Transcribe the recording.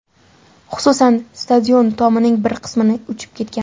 Xususan, stadion tomining bir qismini uchib ketgan.